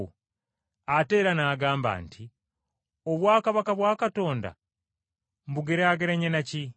Ate era n’agamba nti, “Obwakabaka bwa Katonda mbugeraageranye na ki?